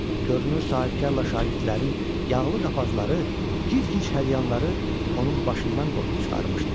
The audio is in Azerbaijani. Görünür sahibkarla şagirdlərin yağlı qapazları, gizgic hədyanları onun başından qoparıb çıxarmışdı.